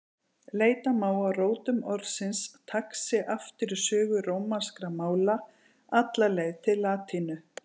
Leita má að rótum orðsins taxi aftur í sögu rómanskra mála, alla leið til latínu.